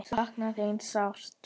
Sakna þín sárt.